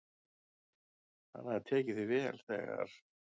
"""Hann hafði tekið því vel, þegar"""